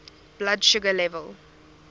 blood sugar level